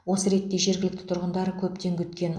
осы ретте жергілкті тұрғындар көптен күткен